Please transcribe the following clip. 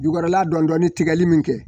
Jukɔrɔla dɔnni tigɛli min kɛ